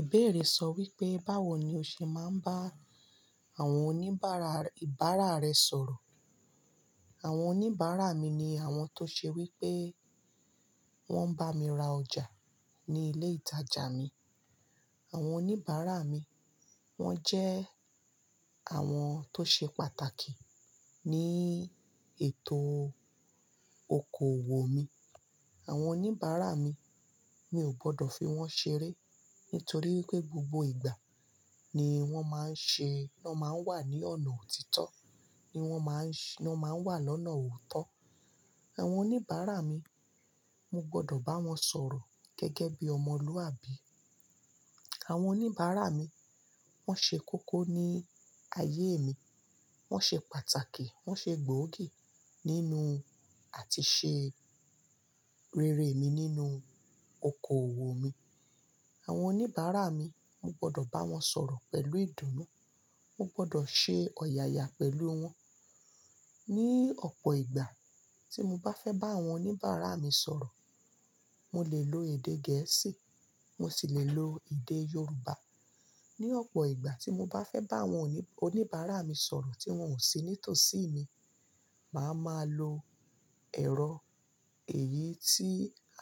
Ìbéèrè sọ wípé báwo ni o ṣe máa ń bá àwọn oníbàárà ìbára rẹ sọ̀rọ̀. Àwọn oníbàárà mi ni àwọn tó ṣe wípé wón ń bá mi ra ọjà ní ilé ìtajà mi. Àwọn oníbàárà mi, wón jẹ́ àwọn tó ṣe pàtàkì ní ètò okoòwò mi. Àwọn oníbàárà mi, mi ò gbọdọ̀ fi wọ́n ṣeré nítorí wípé gbogbo ìgbà ni wón máa ń ṣe, ni wón máa ń wà ní ọ̀nà òtítọ́, ni wón máa ń ṣe, ni wón máa ń wà lọ́nà òótọ́. Àwọn oníbàárà mi, mo gbọdọ̀ bá wọn sọ̀rọ̀ gẹ́gẹ́ bí ọmọlúwàbí. Àwọn oníbàárà mi, wón ṣe kókó ní ayé mi, wón ṣe pàtàkì, wón ṣe gbòógì nínú àti ṣe rere mi nínú okoòwò mi. Àwọn oníbàárà mi, mo gbọdọ̀ bá wọn sọ̀rọ̀ pẹ̀lú ìdùnnú, mo gbọdọ̀ ṣe ọ̀yàyà pẹ̀lú wọn. Ni ọ̀pọ̀ ìgbà tí mo bá fẹ́ bá àwọn oníbàárà mi sọ̀rọ̀, mo lè lo èdè Gẹ̀ẹ́sì, mo sì lè lo èdè Yorùbá. Ni ọ̀pọ̀ ìgbà tí mo bá fẹ́ bá àwọn oní-oníbàárà mi sọ̀rọ̀ tí wọ́n ò sí nítòsí mi, màá máa lo ẹ̀rọ èyí tí